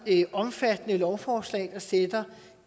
omfattende lovforslag der sætter